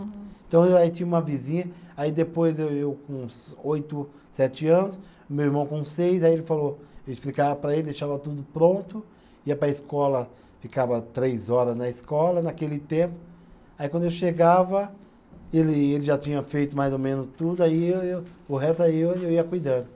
Então, aí tinha uma vizinha, aí depois eu eu com uns oito, sete anos, meu irmão com seis, aí ele falou, eu explicava para ele, deixava tudo pronto, ia para a escola, ficava três horas na escola, naquele tempo, aí quando eu chegava, ele ele já tinha feito mais ou menos tudo, aí eu eu, o resto aí eu eu ia cuidando.